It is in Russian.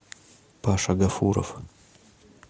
паша гафуров